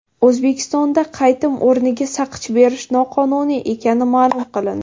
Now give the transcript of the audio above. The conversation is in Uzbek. O‘zbekistonda qaytim o‘rniga saqich berish noqonuniy ekani ma’lum qilindi.